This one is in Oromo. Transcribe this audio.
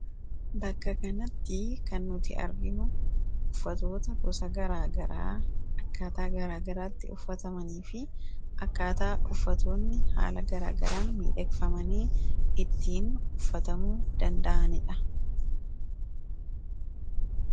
Bakka kanatti kan nuti arginuu uffatoota gosa akkaataa garaa garaatti uffatamanii fi akkaataa uffatootni haala garaagaraan miidheegfamanii ittiin uffatamuu danda'anidha.